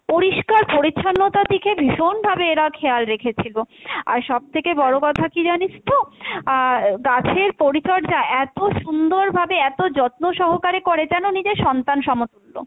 পরিষ্কার পরিচ্ছন্নতার দিকে ভীষন ভাবে এরা খেয়াল রেখেছে গো, আর সব থেকে বড়ো কথা কী জানিস তো, আর গাছের পরিচর্যা এত সুন্দভাবে এত যত্নসহকারে করে যেন নিজের সন্তান সমতুল্য।